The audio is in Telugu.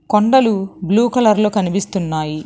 కొండలు బ్లూ కలర్ లో కనిపిస్తున్నాయి.